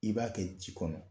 I b'a kɛ ji kɔnɔ